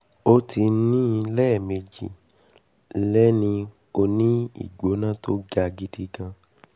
ó ti ní i lẹ́ẹ̀mejì & lénìí ó ní ìgbóna ́tó ga gidi gan